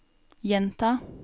gjenta